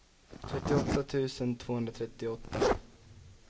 trettioåtta tusen tvåhundratrettioåtta